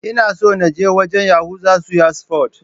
Ina son na je wajan Yahuza suya sufot